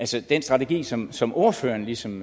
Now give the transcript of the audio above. til den strategi som som ordføreren ligesom